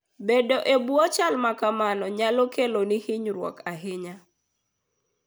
Bedo e bwo chal ma kamago nyalo keloni hinyruok ahinya.